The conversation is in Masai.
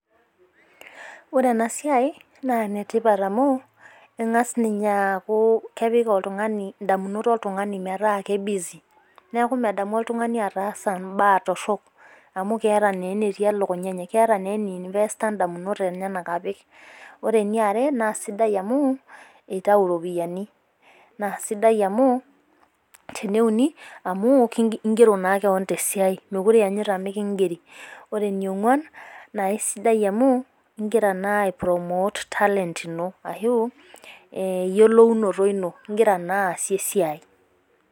Ore ena siai naa Ene tipat amu keng'as aku kepik oltung'ani idamunot oltung'ani meeta kei busy neeku medamu oltung'ani ataasa inaa torok amu keeta naa eneti elukunya enye. Keeta naa ene invest a idamunot enyenak apik. Ore Ene are naa sidai amuu itau iropiani naa sidai amuu tene uni amu igero naa keon tee siai mekure ianyu mikigeri neeku ore Ene ong'uan naa aisidai amu igira naa aii promote talent into Ashu eyolounoto into anaa sii esidai.